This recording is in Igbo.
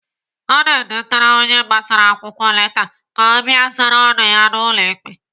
Ana edetara onye agbara akwụkwọ leta ka ọ bịa zara ọnụ ya n'ụlọ ikpe.